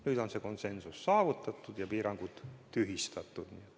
Nüüd on see konsensus saavutatud ja piirangud tühistatud.